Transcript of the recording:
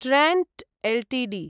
Trent Ltd